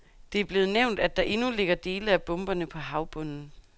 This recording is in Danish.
Det er blevet nævnt, at der endnu ligger dele af bomberne på havbunden.